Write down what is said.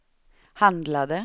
handlade